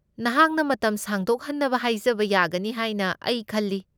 ꯅꯍꯥꯛꯅ ꯃꯇꯝ ꯁꯥꯡꯗꯣꯛꯍꯟꯅꯕ ꯍꯥꯏꯖꯕ ꯌꯥꯒꯅꯤ ꯍꯥꯏꯅ ꯑꯩ ꯈꯜꯂꯤ꯫